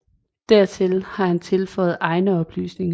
Dertil har han tilføjet egne oplysninger